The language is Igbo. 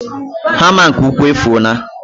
hama nke ukwu efuola.